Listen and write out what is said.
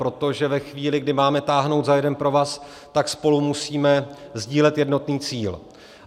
Protože ve chvíli, kdy máme táhnout za jeden provaz, tak spolu musíme sdílet jednotný cíl.